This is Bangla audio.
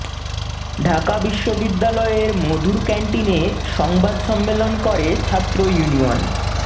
ঢাকা বিশ্ববিদ্যালয়ের মধুর ক্যান্টিনে সংবাদ সম্মেলন করে ছাত্র ইউনিয়ন